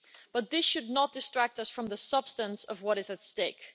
But this should not distract us from the substance of what is at stake.